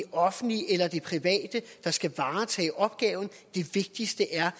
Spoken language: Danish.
offentlige eller det private der skal varetage opgaven det vigtigste er